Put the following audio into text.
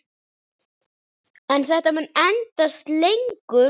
En þetta mun endast lengur.